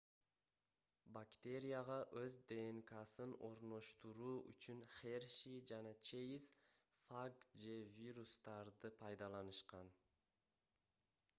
бактерияга өз днксын орноштуруу үчүн херши жана чейз фаг же вирустарды пайдаланышкан